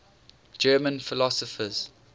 german philosophers